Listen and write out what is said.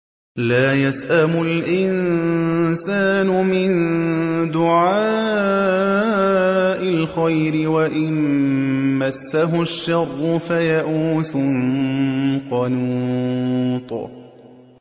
لَّا يَسْأَمُ الْإِنسَانُ مِن دُعَاءِ الْخَيْرِ وَإِن مَّسَّهُ الشَّرُّ فَيَئُوسٌ قَنُوطٌ